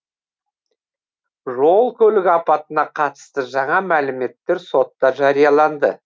жол көлік апатына қатысты жаңа мәліметтер сотта жарияланды